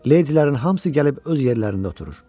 Ledilərin hamısı gəlib öz yerlərində oturur.